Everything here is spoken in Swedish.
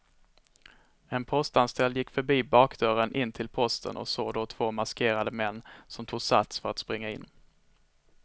En postanställd gick förbi bakdörren in till posten och såg då två maskerade män som tog sats för att springa in.